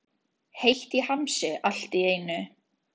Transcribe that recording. Heitt í hamsi allt í einu.